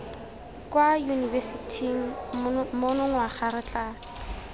kwa yunibesithing monongwaga re tla